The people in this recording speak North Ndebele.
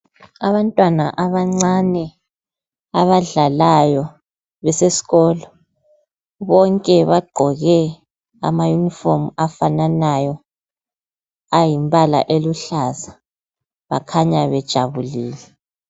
Abantwana abancane abadlalayo besesikolo bonke bagqoke amayunifomu afananayo ayimbala eluhlaza, bakhanya bejabulile.